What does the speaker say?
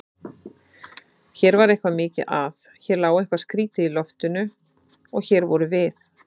Hér var eitthvað mikið að, hér lá eitthvað skrýtið í loftinu- og hér vorum við.